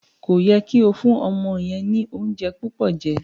Ko yẹ ki o fún ọmọ yẹn ni oúnjẹ púpọ jẹ.